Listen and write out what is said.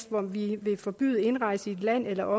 hvor vi vil forbyde indrejse i et land eller